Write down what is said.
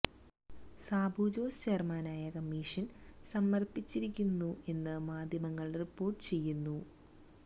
സാബു ജോസ് ചെയർമാനായ കമ്മിഷൻ സമർപ്പിച്ചിരിക്കുന്നു എന്ന് മാധ്യമങ്ങൾ റിപ്പോർട്ട് ചെയ്യുന്നു